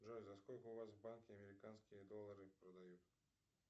джой за сколько у вас в банке американские доллары продают